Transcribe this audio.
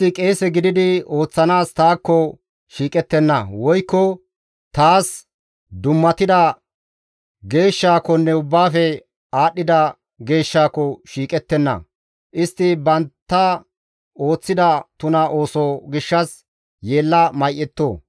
Istti qeese gididi ooththanaas taakko shiiqettenna; woykko taas dummatida geeshshaakonne ubbaafe aadhdhida geeshshaako shiiqettenna. Istti bantta ooththida tuna ooso gishshas yeella may7etto.